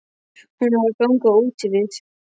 Hún var að ganga úti við.